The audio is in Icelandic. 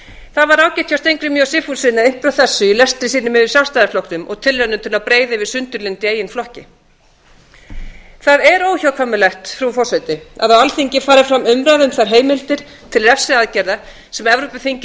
það var ágætt hjá steingrími j sigfússyni að víkja að þessu í lestri sínum yfir sjálfstæðisflokknum og tilraunir til að breiða yfir sundurlyndi í eigin flokki það er óhjákvæmilegt frú forseti að á alþingi fari fram umræða um þær heimildir til refsiaðgerða sem evrópuþingið